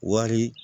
Wari